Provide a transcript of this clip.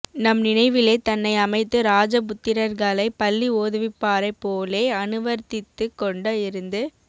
நம் நினைவிலே தன்னை அமைத்து ராஜ புத்திரர்களை பள்ளி ஓதுவிப்பாரைப் போலே அனுவர்த்தித்துக் கொண்டு இருந்து